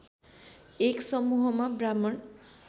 एक समूहमा ब्राह्मण